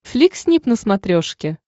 флик снип на смотрешке